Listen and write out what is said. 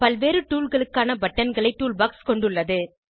பல்வேறு toolகளுக்கான பட்டன்களை டூல்பாக்ஸ் கொண்டுள்ளது